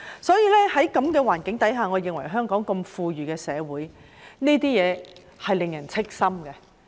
在這樣的環境下，我認為在香港這樣富裕的社會，這情況是令人憂心的。